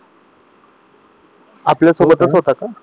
आपल्या सोबतच होता का